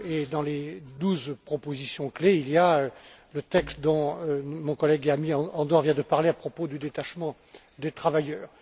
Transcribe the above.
Dans les douze propositions clés, il y a le texte dont mon collègue et ami, Andor, vient de parler à propos du détachement des travailleurs.